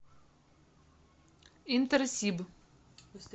интерсиб